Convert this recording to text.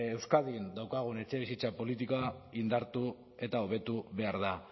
euskadin daukagun etxebizitza politika indartu eta hobetu behar da